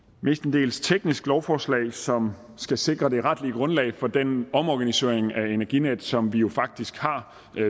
mestendels teknisk lovforslag som skal sikre det retlige grundlag for den omorganisering af energinet som vi jo faktisk har